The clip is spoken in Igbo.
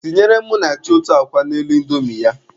Tinyere Munachi otu akwa n'elu indomi ya.